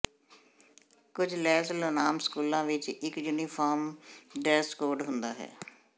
ਕੁਝ Los Lunas ਸਕੂਲਾਂ ਵਿਚ ਇਕ ਯੂਨੀਫਾਰਮ ਡਰੈੱਸ ਕੋਡ ਹੁੰਦਾ ਹੈ